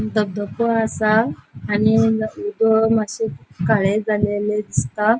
धबधबो असा आणि उदक मात्शे काळे झालेले दिसता.